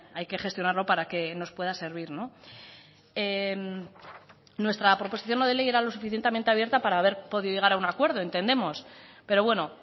hay que gestionarlo para que nos pueda servir nuestra proposición no de ley era lo suficientemente abierta para haber podido llegar a un acuerdo entendemos pero bueno